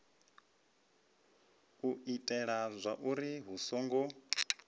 u itela zwauri hu songo